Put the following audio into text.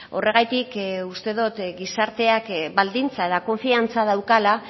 horregatik uste dut gizarteak baldintza eta konfiantza daukala